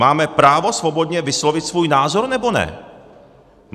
Máme právo svobodně vyslovit svůj názor, nebo ne?